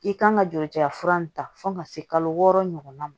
I kan ka joli ja fura nin ta fo ka se kalo wɔɔrɔ ɲɔgɔnna ma